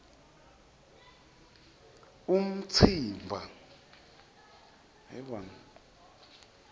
umtsimba